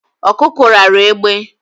Ọkụkọ ráara egbe